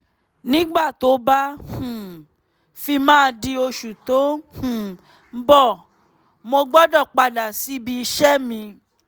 nígbà tó bá um fi máa di oṣù tó um ń bọ̀ mo gbọ́dọ̀ padà síbi iṣẹ́ mi